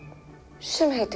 sem heitir